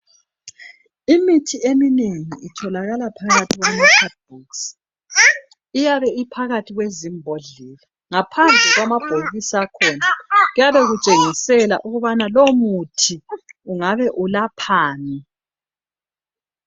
Imithi eminengi itholakala phakathi kwama cadi bokisi iyabe iphakathi kwezimbodlela, ngaphandle kwamabokisi akhona kuyabe kutshengisela ukubana lowo muthi ungabe ulaphani.